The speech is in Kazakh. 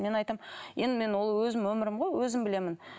мен айтамын енді мен ол өзімнің өмірім ғой өзім білемін